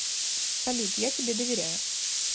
салют я тебе доверяю